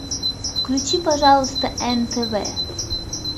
включи пожалуйста нтв